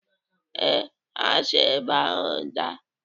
Ee, ha si ebe ahụ daa